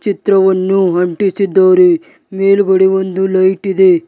ಚಿತ್ರವನ್ನು ಅಂಟಿಸಿದ್ದಾರೆ ಮೇಲ್ಗಡೆ ಒಂದು ಲೈಟ್ ಇದೆ.